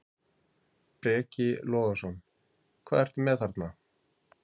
Breki Logason: Hvað ertu með þarna?